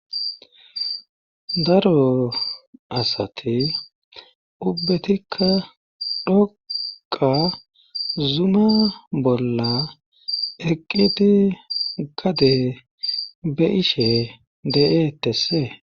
Daro asati ubbetikka dhoqa zuma bolla eqqiti gade be ishe de7eetessee